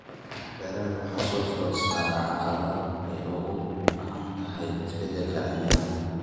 Beeraha waxa soo foodsaaray caqabado ay ugu wacan tahay isbedelka cimilada.